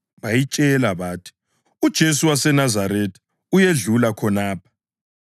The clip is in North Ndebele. Bayitshela bathi, “UJesu waseNazaretha uyedlula khonapha.”